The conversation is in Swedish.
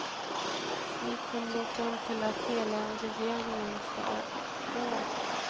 Vi kom då fram till att hela regeringen måste gå.